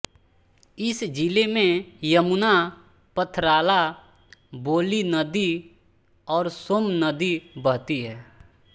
इब जिले मे यमुना पथराला बोली नदी और सोम्ब नदी बहती है